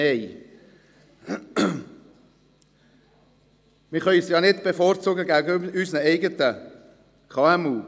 Man kann sie ja nicht gegenüber unseren eigenen KMU bevorzugen.